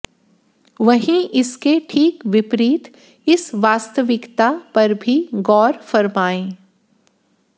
वहीं इसके ठीक विपरीत इस वास्तविकता पर भी गौर फरमाए